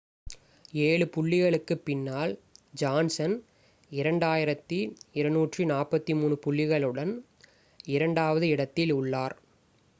7 புள்ளிகளுக்கு பின்னால் ஜான்சன் 2,243 புள்ளிகளுடன் இரண்டாவது இடத்தில் உள்ளார்